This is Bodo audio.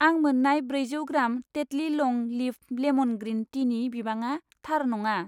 आं मोन्नाय ब्रैजौ ग्राम टेटलि लं लिफ लेमन ग्रिन टिनि बिबाङा थार नङा।